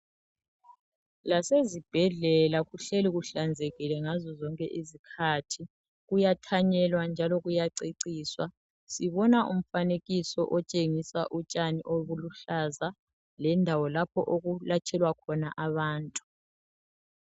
lasezibhedlela kuhleli kuhlanzekile ngazo zonke izikhathi kuyathanyelwa njalo kuyaceciswa sibona umfanekiso otshengisa utshani obuluhlaza lendawo lapho okulatshelwa khona abantu